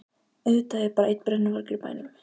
Auðvitað er bara einn brennuvargur í bænum!